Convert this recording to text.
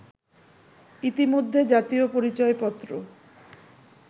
ইতিমধ্যে জাতীয় পরিচয়পত্র